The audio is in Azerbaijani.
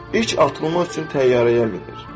İlk atılma üçün təyyarəyə minir.